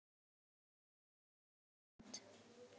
Þessu er ekki lokið samt.